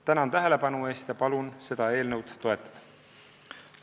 Tänan tähelepanu eest ja palun seda eelnõu toetada!